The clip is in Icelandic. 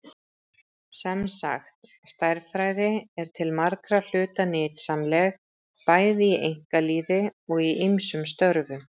Sem sagt, stærðfræði er til margra hluta nytsamleg, bæði í einkalífi og í ýmsum störfum.